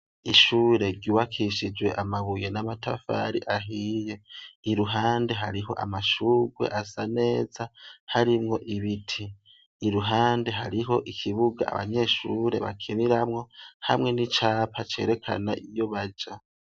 Ishure riwakishijwe amabuye n'amatafari ahiye iruhande hariho amashurwe asa neza harimwo ibiti iruhande hariho ikibuga abanyeshure bakeniramwo hamwe n'icapa cerekana iyubaja.